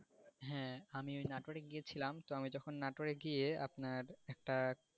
হ্যাঁ আমি ওই নাটরে গিয়েছিলাম তো, আমি যখন নাটরে গিয়ে আপনার একটা,